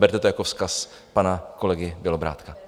Berte to jako vzkaz pana kolegy Bělobrádka.